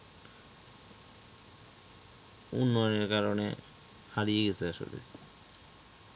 উন্নয়নের কারণে হারিয়ে গেছে আসলে।